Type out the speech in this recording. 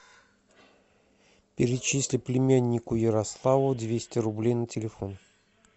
перечисли племяннику ярославу двести рублей на телефон